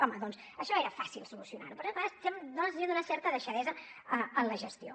home doncs això era fàcil solucionarho però dona la sensació d’una certa deixadesa en la gestió